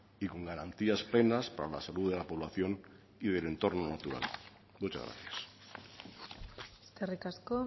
y con garantías plenas para la salud de la población y del entorno natural muchas gracias eskerrik asko